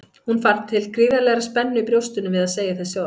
Hún fann til gríðarlegrar spennu í brjóstinu við að segja þessi orð.